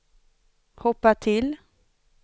hoppa till